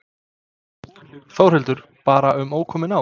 Þórhildur: Bara um ókomin ár?